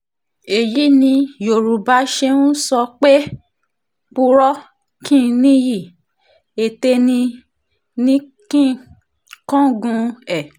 èyí ni yorùbá ṣe ń sọ pé purọ́ kí n níyì ètè ní í ní í kángun ẹ̀